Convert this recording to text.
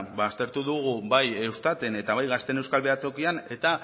ba aztertu dugu bai eustaten eta bai gazteen euskal behatokian eta